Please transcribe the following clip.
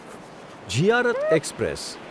Ziyarat express